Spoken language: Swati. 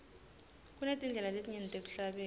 kunetindlela letinyenti tekuhlabela